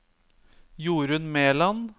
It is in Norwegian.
Jorun Meland